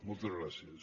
moltes gràcies